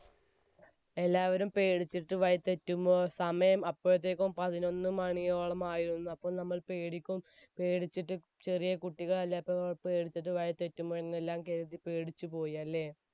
എല്ലാവരും പേടിച്ചിട്ട് വഴി തെറ്റുമ്പോൾ സമയം അപ്പോഴത്തേക്കും പതിനൊന്ന് മണിയോളമായിരുന്നു. അപ്പോൾ നമ്മൾ പേടിക്കും~പേടിച്ചിട്ട് ചെറിയ കുട്ടികൾ എല്ലാം പേടിച്ചുപോയി. അല്ലേ?